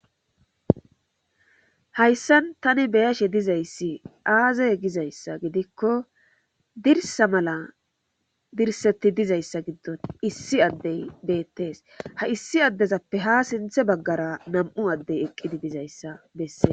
hayssan tani beyashe dizayssi aazey gizayssa gidikko dirsa mala dirsetti dizayssa giddon issi addey beettees ha issi addezappe ha sinthe baggara nam7u addey eqqidi dizayssa besses